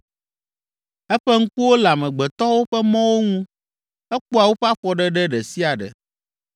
“Eƒe ŋkuwo le amegbetɔwo ƒe mɔwo ŋu, ekpɔa woƒe afɔɖeɖe ɖe sia ɖe.